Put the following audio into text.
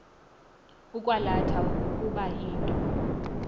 ukwalatha ukuba into